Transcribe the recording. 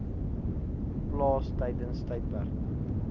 plaas tydens tydperke